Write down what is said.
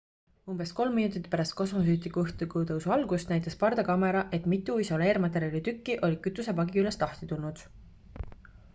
umbes 3 minutit pärast kosmosesüstiku õhkutõusu algust näitas pardakaamera et mitu isoleermaterjali tükki olid kütusepaagi küljest lahti tulnud